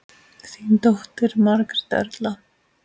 Þín dóttir, Margrét Erla.